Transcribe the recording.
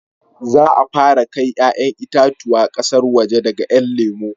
Za a fara kai 'ya'yan itatuwa ƙasar waje daga 'yan lemo